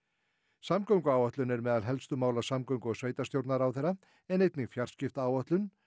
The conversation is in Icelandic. samgönguáætlun er meðal helstu mála samgöngu og sveitarstjórnarráðherra en einnig fjarskiptaáætlun